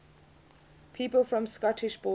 people from the scottish borders